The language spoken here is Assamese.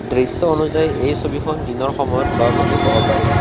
দৃশ্য অনুযায়ী এই ছবিখন দিনৰ সময়ত লোৱা বুলি কব পাৰি।